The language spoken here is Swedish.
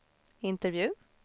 intervju